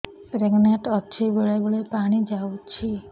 pregnant ଅଛି ବେଳେ ବେଳେ ପାଣି ଯାଉଛି